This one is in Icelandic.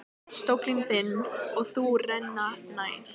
Stóllinn þinn og þú renna nær.